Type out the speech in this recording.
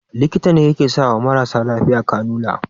Likita ne yake sawa mara lafiya kanula